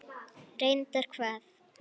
Reyndar hvað?